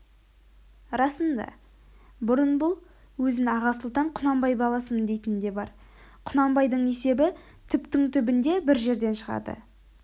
расында бұрын бұл өзін аға сұлтан құнанбай баласымын дейтін де бар құнанбайдың есебі түптің түбінде бір жерден шығады